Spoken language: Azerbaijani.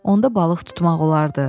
Onda balıq tutmaq olardı.